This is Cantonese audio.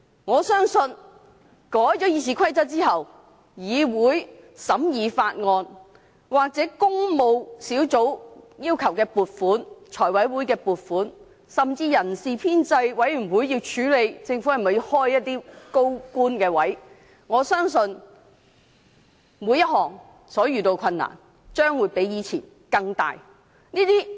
我相信修改《議事規則》後，立法會審議法案，或工務小組委員會要求財務委員會撥款，甚至人事編制小組委員會處理政府開設的高官職位申請，所遇到的困難將會比以前更大。